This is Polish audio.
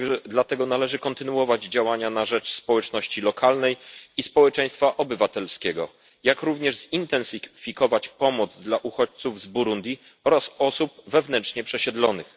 Dlatego należy kontynuować działania na rzecz społeczności lokalnej i społeczeństwa obywatelskiego, jak również zintensyfikować pomoc dla uchodźców z Burundi oraz osób wewnętrznie przesiedlonych.